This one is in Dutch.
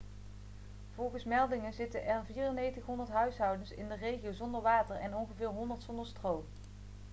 volgens meldingen zitten er 9400 huishouden in de regio zonder water en ongeveer 100 zonder stroom